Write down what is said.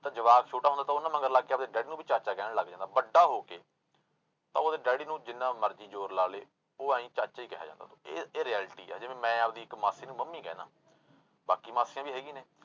ਤਾਂ ਜਵਾਕ ਛੋਟਾ ਹੁੰਦਾ ਤਾਂ ਉਹਨਾਂ ਮਗਰ ਲੱਗ ਕੇ ਆਪਦੇ daddy ਨੂੰ ਵੀ ਚਾਚਾ ਕਹਿਣ ਲੱਗ ਜਾਂਦਾ, ਵੱਡਾ ਹੋ ਕੇ ਤਾਂ ਉਹਦੇ daddy ਨੂੰ ਜਿੰਨਾ ਮਰਜ਼ੀ ਜ਼ੋਰ ਲਾ ਲਏ, ਉਹ ਆਈਂ ਚਾਚਾ ਹੀ ਕਿਹਾ ਜਾਂਦਾ ਉਹ ਤੋਂ, ਇਹ ਇਹ reality ਆ ਜਿਵੇਂ ਮੈਂ ਆਪਦੀ ਇੱਕ ਮਾਸੀ ਨੂੰ ਮੰਮੀ ਕਹਿਨਾ, ਬਾਕੀ ਮਾਸੀਆਂ ਵੀ ਹੈਗੀਆਂ ਨੇ